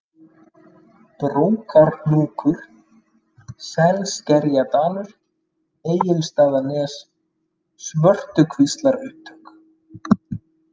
Brókarhnúkur, Selskerjadalur, Egilsstaðanes, Svörtukvíslarupptök